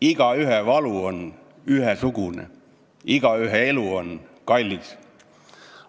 Igaühe valu on ühesugune, igaühe elu on kallis.